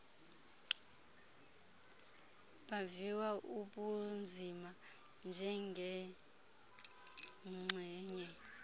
baviwa ubunzima njengenxgenye